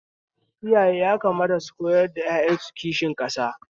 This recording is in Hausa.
Iyaye yakamata su koyar da ƴaƴan su kishin ƙasa